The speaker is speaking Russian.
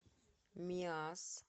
миасс